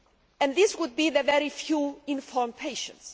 it, and that they would be the very few informed patients.